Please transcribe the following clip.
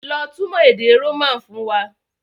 Lọ túmọ̀ èdè Roman fún wa!